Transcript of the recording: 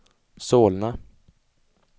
Solna